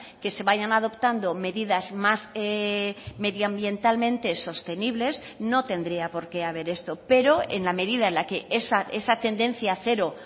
que se vayan adoptando medidas más medioambientalmente sostenibles no tendría por qué haber esto pero en la medida en la que esa tendencia a cero